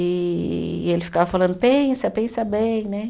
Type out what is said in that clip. E e ele ficava falando, pensa, pensa bem, né?